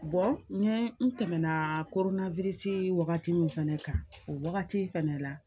n tɛmɛna koronnasi wagati min fɛnɛ kan o wagati fɛnɛ la